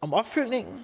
om opfølgningen